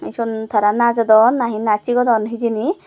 son tara najodon nahi naj sigodon hijeni.